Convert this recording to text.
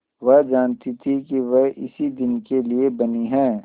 वह जानती थी कि वह इसी दिन के लिए बनी है